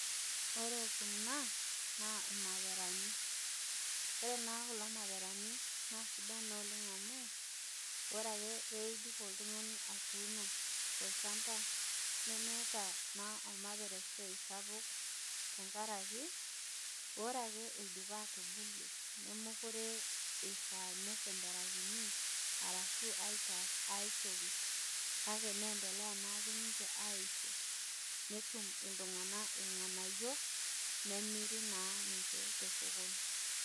Ore kuna naa ilmaperani, ore naa kuna maperani naasidan naa oleng' amu ore ake peeidip oltungani atuuno tol'chamba nemeeta naa olmapera esiai sapuk tenkaraki ore ake eidapa atubulu nemekure eishaa nesemberaki arashu aitaas aitoki kake neendelea naa ake ninje aisho nitum iltunganak ilnganayio nemiri naa ninje tosokoni.